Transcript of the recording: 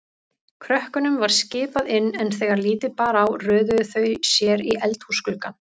Krökkunum var skipað inn, en þegar lítið bar á röðuðu þau sér í eldhúsgluggann.